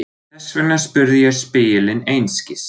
Þess vegna spurði ég spegilinn einskis.